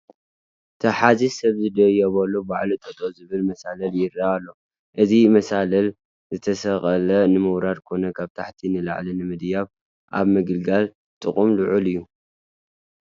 ተሓዚ ሰብ ዘየድልዮ ባዕሉ ጠጠው ዝበለ መሳልል ይርአ ኣሎ፡፡ እዚ መሳልል ዝተሰቐለ ንምውራድ ኮነ ካብ ታሕቲ ንላዕሊ ንምድያብ ኣብ ምግልጋል ጥቕሙ ልዑል እዩ፡፡